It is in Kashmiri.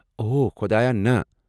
اوہ خۄدایا، نَہ!